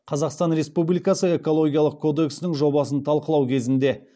қазақстан республикасы экологиялық кодексінің жобасын талқылау кезінде